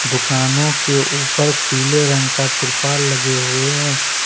दुकानों के ऊपर पीले रंग का त्रिपाल लगे हुए हैं।